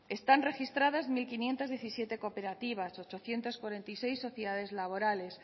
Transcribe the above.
están registradas mil quinientos diecisiete cooperativas ochocientos cuarenta y seis sociedades laborales